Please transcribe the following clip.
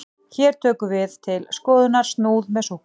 hér tökum við til skoðunar snúð með súkkulaði